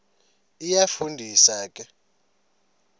iyafu ndisa ke